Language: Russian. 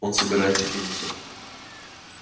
он собирается кинуться